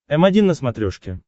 м один на смотрешке